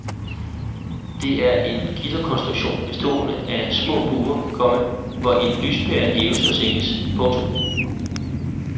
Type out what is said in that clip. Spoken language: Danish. Det er en gitterkonstruktion bestående af små bure, komma hvor en lyspære hæves og sænkes. punktum